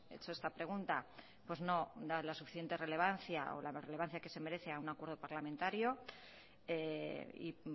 hecho esta pregunta pues no da la suficiente relevancia o la relevancia que se merece a un acuerdo parlamentario y